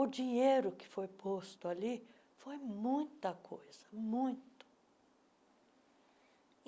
O dinheiro que foi posto ali foi muita coisa, muito.